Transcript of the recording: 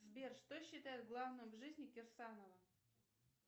сбер что считают главным в жизни кирсанова